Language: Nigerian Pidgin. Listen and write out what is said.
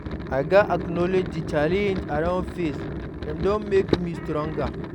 I gats acknowledge the challenges I don face; dem don make me stronger.